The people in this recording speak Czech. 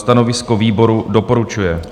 Stanovisko výboru: doporučuje.